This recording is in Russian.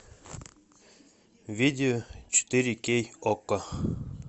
видео четыре кей окко